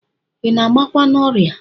I na-agbakwa n'ọrịa?